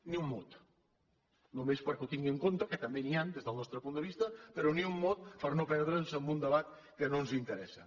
ni un mot només perquè ho tingui en compte que també n’hi han des del nostre punt de vista però ni un mot per no perdre’ns en un debat que no ens interessa